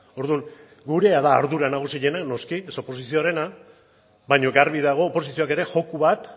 orduan gurea da ardura nagusiena noski ez oposizioarena baina garbi dago oposizioak ere joko bat